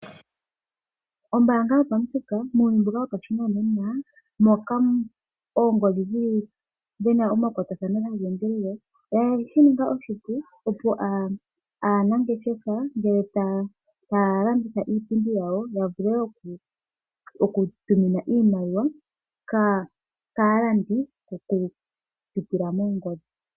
Ombaanga yopamuthika muuyuni mbuka wopashinanena moka oongodhi dhina omakwatathano oye shi ninga oshipu opo aanangeshefa ngele taya landitha iipindi yawo yavule oku tuminwa iimaliwa kaalandi oku putila moongodhi.